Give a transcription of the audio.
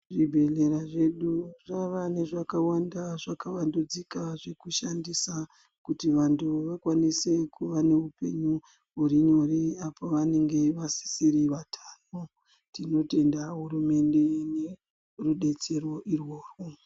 Zvibhehleya zvedu zvava nezvakawanda zvakavandudzika zvekushandisa kuti vantu vakwanise kuva neupenyu huri nyore apo vanenge vasisiri vatano tinotenda hurumende ngerudetsrro urworwu.